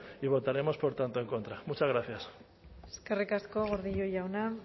y votaremos por tanto en contra muchas gracias eskerrik asko gordillo jauna